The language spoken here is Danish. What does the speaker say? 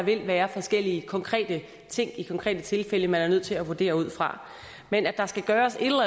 vil være forskellige konkrete ting i de konkrete tilfælde man er nødt til at vurdere ud fra men at der skal gøres et